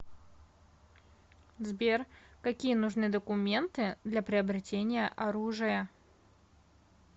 сбер какие нужны документы для приобретения оружия